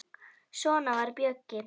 Svona var Bjöggi.